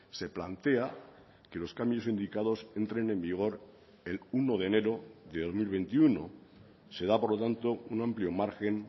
se plantea que los cambios indicados entren en vigor el uno de enero de dos mil veintiuno se da por lo tanto un amplio margen